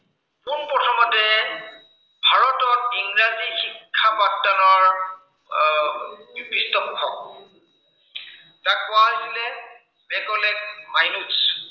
ইংৰাজী শিক্ষা প্ৰৱৰ্তনৰ, আহ পৃষ্ঠপোষক। যাক কোৱা হৈছিলে, মেকলে মাইনোছ